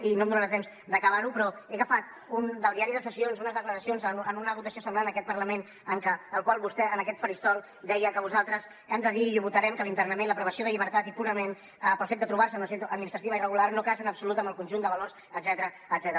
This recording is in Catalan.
i no em donarà temps d’acabar ho però he agafat del diari de sessions unes declaracions en una votació semblant en aquest parlament en què vostè en aquest faristol deia que hem de dir i ho votarem que l’internament la privació de llibertat i purament pel fet de trobar se en una situació administrativa irregular no casa en absolut amb el conjunt de valors etcètera